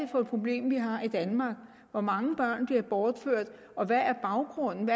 for et problem vi har i danmark hvor mange børn der bliver bortført og hvad baggrunden